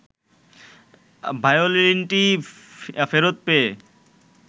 ভায়োলিনটি ফেরত পেয়ে